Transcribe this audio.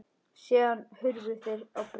Síðan hurfu þeir á braut.